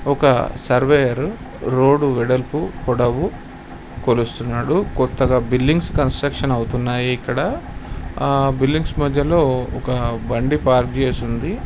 ఒక surveyor road వెడల్పు పొడవు కొలుస్తున్నాడు. కొత్తగా బిల్డింగ్స్ కన్స్ట్రక్షన్ అవుతున్నాయి ఇక్కడ. ఆ బిల్డింగ్స్ మధ్యలో ఒక బండి పార్క్ చేసి ఉంది.